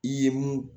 I ye mun